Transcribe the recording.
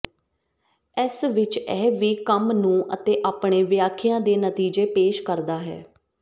ਇਸ ਵਿਚ ਇਹ ਵੀ ਕੰਮ ਨੂੰ ਅਤੇ ਆਪਣੇ ਵਿਆਖਿਆ ਦੇ ਨਤੀਜੇ ਪੇਸ਼ ਕਰਦਾ ਹੈ